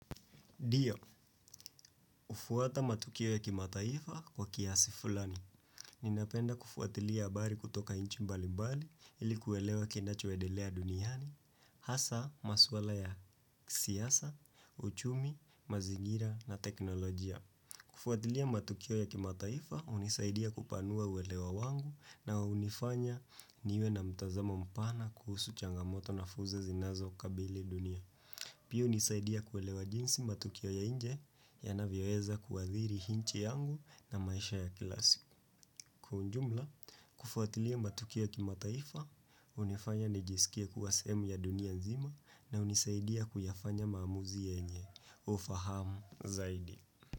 Dio, ufuata matukio ya kimataifa kwa kiasi fulani. Ninapenda kufuatilia habari kutoka nchi mbali mbali ili kuelewa kenacho endelea duniani. Hasa, maswala ya siasa, uchumi, mazingira na teknolojia. Kufuatilia matukio ya kimataifa unisaidia kupanua uwelewa wangu na unifanya niwe na mtazamo mpana kuhusu changamoto na fursa zinazo kabili dunia. Pia unisaidia kuelewa jinsi matukio ya nje yanavyo weza kuwathiri nchi yangu na maisha ya kila siku. Kwa ujumla, kufuatilia matukio kimataifa, unifanya nijisikie kuwa sehemu ya dunia nzima na unisaidia kuyafanya maamuzi yenye. Ufahamu zaidi.